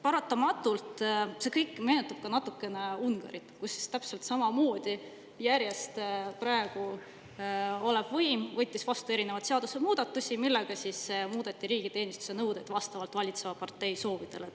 Paratamatult see kõik meenutab ka natukene Ungarit, kus täpselt samamoodi praegune võim võttis järjest vastu erinevaid seadusemuudatusi, millega muudeti riigiteenistuse nõudeid vastavalt valitseva partei soovidele.